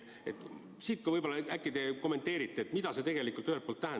Äkki te kommenteerite, mida te tegelikult mõtlete?